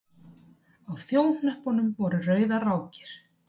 Á þjóhnöppunum voru rauðar rákir.